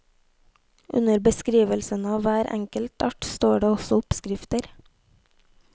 Under beskrivelsene av hver enkelt art står det også oppskrifter.